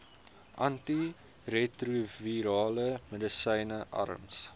antiretrovirale medisyne arms